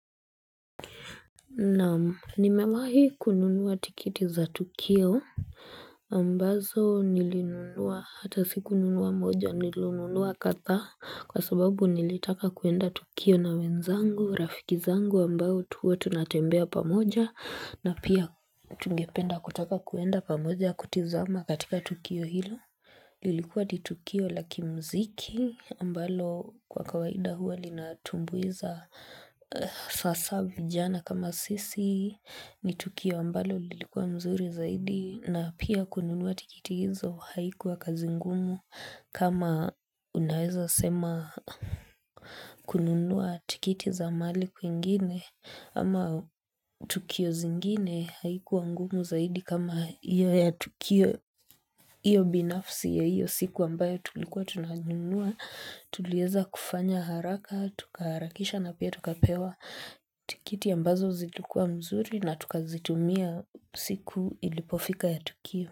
Naam, nimewahi kununuwa tikiti za tukio. Ambazo nilinunua hata sikununua moja nilununua kadhaa kwa sababu nilitaka kuenda tukio na wenzangu, rafiki zangu ambao huwa tunatembea pamoja na pia tungependa kutaka kuenda pamoja kutizama katika tukio hilo. Lilikuwa ni tukio la kimziki ambalo kwa kawaida huwa linatumbuiza sasa vijana kama sisi ni tukio ambalo lilikuwa mzuri zaidi na pia kununua tikiti hizo haikuwa kazi ngumu kama unaweza sema kununua tikiti za mahali kwingine ama Tukio zingine haikuwa ngumu zaidi kama hiyo ya tukio hiyo binafsi ya hiyo siku ambayo tulikuwa tunanunua, tuliweza kufanya haraka, tukaharakisha na pia tukapewa tikiti ambazo zilikuwa mzuri na tukazitumia siku ilipofika ya tukio.